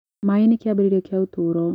maaĩ nĩ kĩambĩrĩria kia ũtũro